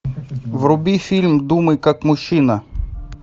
вруби фильм думай как мужчина